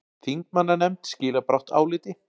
Þingmannanefnd skilar brátt áliti